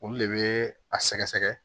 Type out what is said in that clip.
Olu de bɛ a sɛgɛsɛgɛ